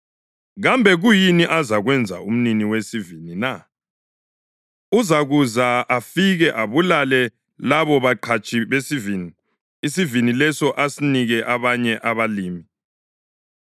Kambe kuyini azakwenza umnini wesivini na? Uzakuza afike ababulale labo baqhatshi besivini, isivini leso asinike abanye abalimi.